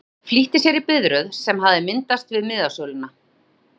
Örn flýtti sér í biðröð sem hafði myndast við miðasöluna.